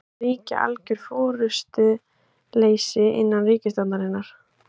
Það ríki algjör forystuleysi innan ríkisstjórnarinnar